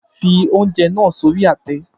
Fi oúnjẹ náà sí orí àtẹ